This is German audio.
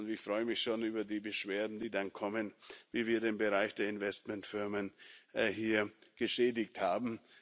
Und ich freue mich schon über die Beschwerden, die dann kommen, wie wir den Bereich der Investmentfirmen hier geschädigt haben.